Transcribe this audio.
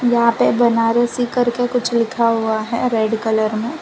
वहां पे बनारसी करके कुछ लिखा हुआ है रेड कलर में--